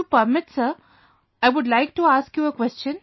If you permit sir, I would like to ask you a question